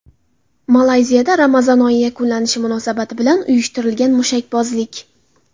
Malayziyada Ramazon oyi yakunlanishi munosabati bilan uyushtirilgan mushakbozlik.